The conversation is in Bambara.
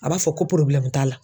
A b'a fɔ ko t'a la